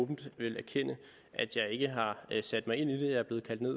åbent vil erkende at jeg ikke har sat mig ind i det jeg er blevet kaldt ned